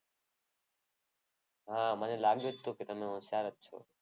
હા મને લાગ્યું તું કે તમે હોશિયાર જ છો.